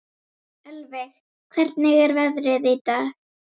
Ölveig, hvernig er veðrið í dag?